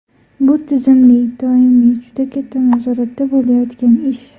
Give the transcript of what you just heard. Bu tizimli, doimiy, juda katta nazoratda bo‘layotgan ish.